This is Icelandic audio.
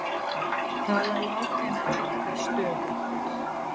Tala látinna hækkar stöðugt